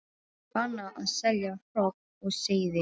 Bannað að selja hrogn og seiði